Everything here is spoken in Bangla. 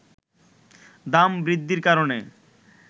দাম বৃদ্ধির কারণে